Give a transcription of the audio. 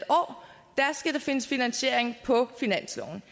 der skal findes finansiering på finansloven